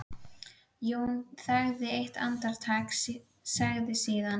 Jón þagði eitt andartak, sagði síðan